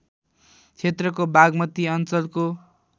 क्षेत्रको बागमती अञ्चलको